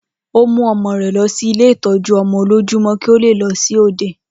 Ó mú ọmọ rẹ̀ lọ sí ilé ìtọ́jú-ọmọ-olójúmọ́, kí ó le lọ sí òde.